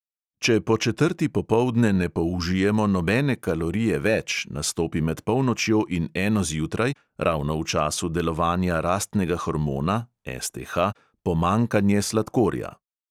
Če po četrti popoldne ne použijemo nobene kalorije več, nastopi med polnočjo in eno zjutraj, ravno v času delovanja rastnega hormona pomanjkanje sladkorja.